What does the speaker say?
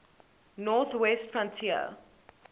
north west frontier